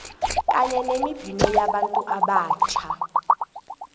kanye nemibhino yabantu abatjha